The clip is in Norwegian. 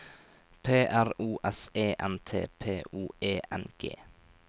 P R O S E N T P O E N G